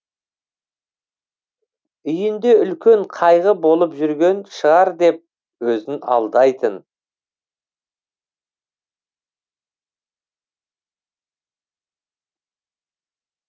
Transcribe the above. үйінде үлкен қайғы болып жүрген шығар деп өзін алдайтын